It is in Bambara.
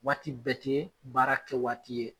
Waati bɛɛ tɛ baara kɛ waati ye.